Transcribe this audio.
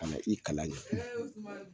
Ka na i kalan in